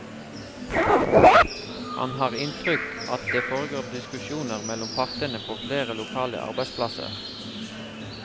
Han har inntrykk at det foregår diskusjoner mellom partene på flere lokale arbeidsplasser.